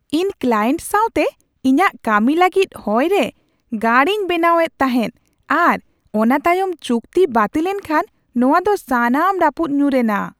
ᱤᱧ ᱠᱞᱟᱭᱮᱱᱴ ᱥᱟᱶᱛᱮ ᱤᱧᱟᱹᱜ ᱠᱟᱹᱢᱤ ᱞᱟᱹᱜᱤᱫ ᱦᱚᱭ ᱨᱮ ᱜᱟᱲ ᱤᱧ ᱵᱮᱱᱟᱣ ᱮᱫ ᱛᱟᱦᱮᱱ ᱟᱨ ᱚᱱᱟ ᱛᱟᱭᱚᱢ ᱪᱩᱠᱛᱤ ᱵᱟᱹᱛᱤᱞ ᱮᱱ ᱠᱷᱟᱱ ᱱᱚᱶᱟ ᱫᱚ ᱥᱟᱱᱟᱢ ᱨᱟᱹᱯᱩᱫ ᱧᱩᱨ ᱮᱱᱟ ᱾